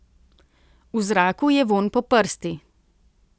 V zraku je vonj po prsti.